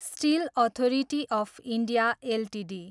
still authority of India Ltd